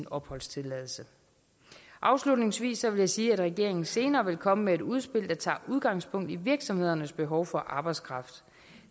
opholdstilladelse afslutningsvis vil jeg sige at regeringen senere vil komme med et udspil der tager udgangspunkt i virksomhedernes behov for arbejdskraft